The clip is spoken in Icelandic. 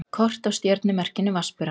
Kort af stjörnumerkinu Vatnsberanum.